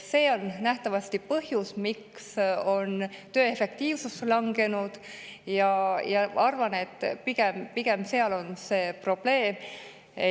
See on nähtavasti põhjus, miks on töö efektiivsus langenud, ja arvan, et pigem selles on probleem.